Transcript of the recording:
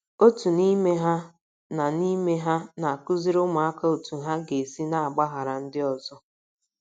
Otu n’ime ha na n’ime ha na - akụziri ụmụaka otú ha ga - esi na - agbaghara ndị ọzọ.